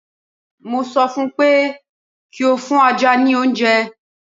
Mo ṣọ fún pé kí ó fún ajá ní oúnje!